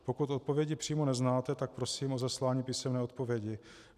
Pokud odpovědi přímo neznáte, tak prosím o zaslání písemné odpovědi.